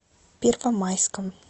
первомайском